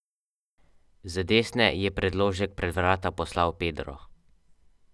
Skupaj sta podpisani tudi pod več avtorskih del in gradiv.